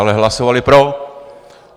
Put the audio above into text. Ale hlasovali pro.